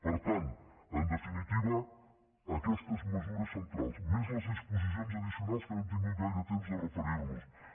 per tant en definitiva aquestes mesures centrals més les disposicions addicionals que no hem tingut gaire temps de referir nos hi